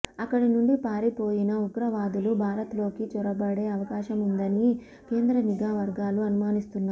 అక్కడి నుంచి పారిపోయిన ఉగ్రవాదులు భారత్లోకి చొరబడే అవకాశముందని కేంద్ర నిఘా వర్గాలు అనుమానిస్తున్నాయి